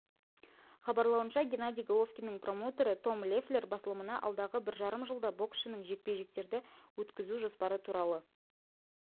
хабарлауынша геннадий головкиннің промоутері том леффлер басылымына алдағы бір жарым жылда боксшының жекпе-жектерді өткізу жоспары туралы